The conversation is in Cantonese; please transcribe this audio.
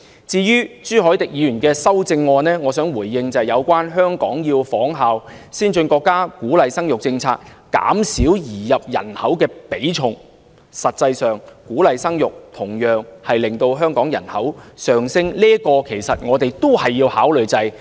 至於朱凱廸議員的修正案，我想回應的一點是有關香港要仿效先進國家的鼓勵生育政策，減少移入人口的比重，但實際上，鼓勵生育同樣會令香港人口上升，這一點我們也要加以考慮。